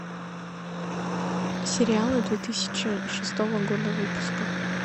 сериалы две тысячи шестого года выпуска